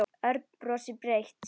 Örn brosti breitt.